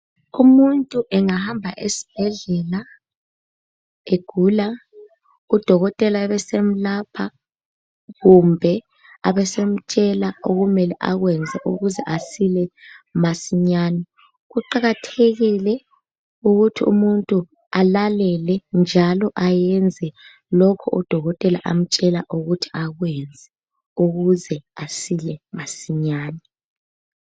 Umuntu engahamba esibhedlela egula, udokotela abesemlapha kumbe abesemtshela okumele akwenze ukuze asila masinyane. Kuqakathekile ukuthi umuntu alalele njalo ayenze lokho udokotela amtshela ukuthi akwenze ukuze asile masinyane.